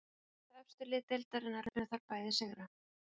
Tvö efstu lið deildarinnar unnu þar bæði sigra.